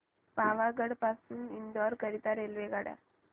पावागढ पासून इंदोर करीता रेल्वेगाड्या